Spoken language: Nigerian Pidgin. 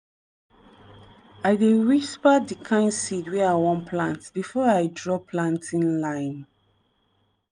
i dey whisper di kind seed wey i wan plant before i draw planting line.